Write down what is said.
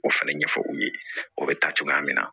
O fɛnɛ ɲɛfɔ u ye o bɛ taa cogoya min na